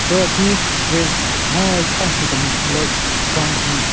Ro ki waste hon tha nshikemvu le ground ki binyon.